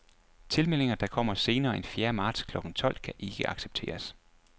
Tilmeldinger, der kommer senere end fjerde marts klokken tolv, kan ikke accepteres.